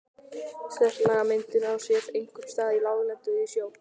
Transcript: Setlagamyndun á sér einkum stað á láglendi og í sjó.